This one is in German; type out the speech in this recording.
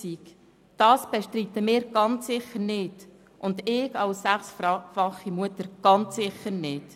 Aber das bestreiten wir sicher nicht, und ich als sechsfache Mutter ganz sicher nicht.